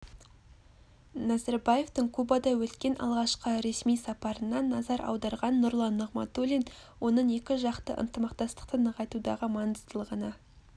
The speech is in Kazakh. назарбаевтың кубада өткен алғашқы ресми сапарына назар аударған нұрлан нығматулин оның екіжақты ынтымақтастықты нығайтудағы маңыздылығына